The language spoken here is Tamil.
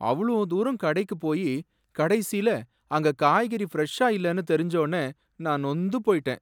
அவ்ளோ தூரம் கடைக்குப் போயி கடைசியில அங்க காய்கறி ஃபிரெஷ்ஷா இல்லேன்னு தெரிஞ்சொனே நான் நொந்து போயிட்டேன்.